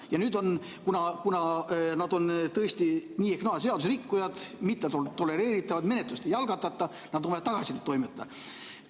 Ja kuna nad on tõesti nii ehk naa seaduserikkujad, mittetolereeritavad, siis menetlust ei algatata, nad tuleb tagasi toimetada.